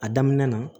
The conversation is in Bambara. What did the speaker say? A daminɛ na